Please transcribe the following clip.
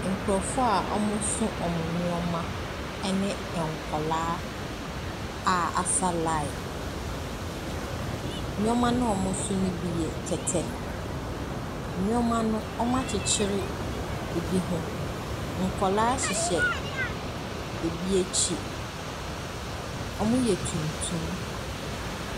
Nkurɔfoɔ a wɔso wɔn nneɛma ne nkwadaa a wɔasa line. Nneɛma no a wɔso no bi yɛ kɛtɛ. Nneɛma no, wɔakyekyere bi ho. Nkwadaa hyehyɛ ɛbi akyi. Wɔyɛ tuntum.